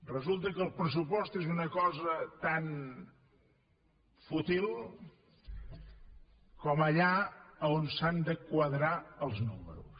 resulta que el pressupost és una cosa tan fútil com allà on s’han de quadrar els números